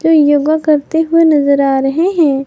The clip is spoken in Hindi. जो योगा करते हुए नजर आ रहे हैं।